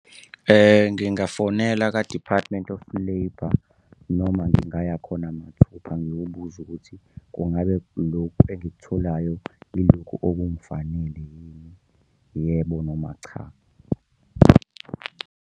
Ngingafonela ka-Department of Labour, noma ngingaya khona mathupha ngiyobuza ukuthi kungabe lokhu engikutholayo ilokhu okungifanele yini, yebo noma cha.